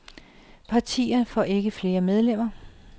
Partierne får ikke flere medlemmer.